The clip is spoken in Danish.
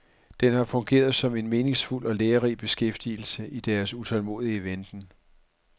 Den har fungeret som en meningsfuld og lærerig beskæftigelse i deres utålmodige venten.